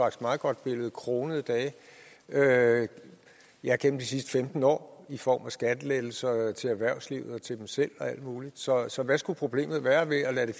et meget godt billede kronede dage ja gennem de sidste femten år i form af skattelettelser til erhvervslivet og til dem selv og alt muligt så så hvad skulle problemet være ved at lade